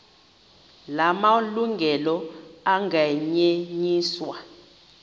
la malungelo anganyenyiswa